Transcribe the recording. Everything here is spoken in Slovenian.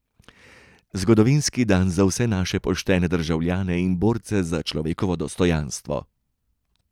Zgodovinski dan za vse naše poštene državljane in borce za človekovo dostojanstvo.